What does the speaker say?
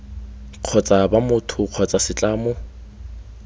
kgotsa b motho kgotsa setlamo